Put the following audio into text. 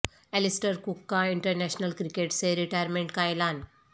Alastair Cook کا international cricket سے retirement کا اعلان